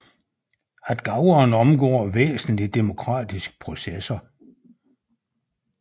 At gaverne omgår væsentlige demokratiske processer